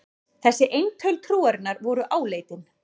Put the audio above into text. Þessi eintöl trúarinnar voru áleitin.